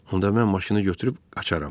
Onda mən maşını götürüb qaçaram.